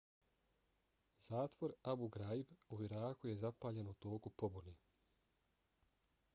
zatvor abu ghraib u iraku je zapaljen u toku pobune